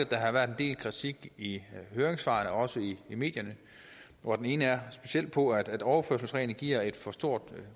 der har været en del kritik i høringssvarene og også i medierne og den ene specielt på at overførselsreglen giver et for stort